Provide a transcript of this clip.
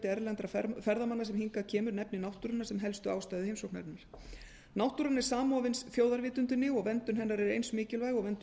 erlendra ferðamanna sem hingað kemur nefnir náttúruna sem helstu ástæðu heimsóknarinnar náttúran er samofin þjóðarvitundinni og verndun hennar er eins mikilvæg og verndun